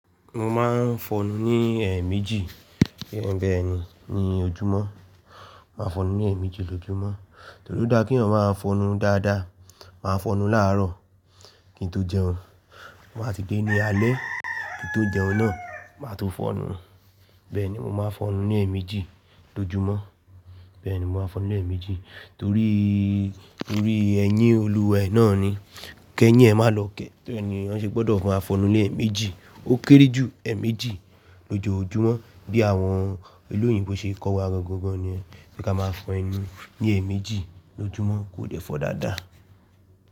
Mọ máa ń fọnu ní ẹ̀ẹ̀méjì. Bẹ́ẹ̀ni, ní ojúmọ́, màá fọnu ní ẹ̀ẹ̀méjì lójúmọ́. Torí ó dá kí èèyàn máa fọnú dáadáa, màá fọnú láàárọ̀ kí n tó jẹun. Má ti dé ní alẹ́ kí n tó jẹun náà, màá tùn fọnu. Bẹ́ẹ̀ni, mo máa ń fọnu ní ẹ̀ẹ̀méjì lójúmọ́. Bẹ́ẹ̀ni, mo máa ń fọnú ní ẹ̀ẹ̀méjì torí, torí ẹyín olúwẹ náà ni. Kẹ́yìn ẹ má lọ kẹ́, torí e ni èèyàn ṣe gbọ́dọ̀ má fọnú ní ẹ̀ẹ̀méjì. Ó kéré jù ẹ́ẹ̀méjì lójoojúmọ́ bí àwọn ìlú òyìnbó ṣe kọ́ wa gangan gan ni yen. Pé ka máa ń fọnu ní ẹ̀ẹ̀méjì lójúmọ́ kò dẹ́ fọ dáadáa.